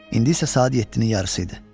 İndi isə saat 7-nin yarısı idi.